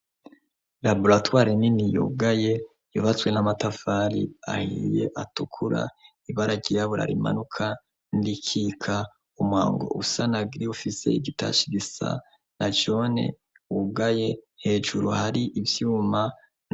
Laboratoire nini yugaye, yubatswe n'amatafari ahiye atukura, ibara ryirabura rimanuka n'irikika, umwango usa na gri ufise igitashe gisa na jone wugaye, hejuru hari ivyuma.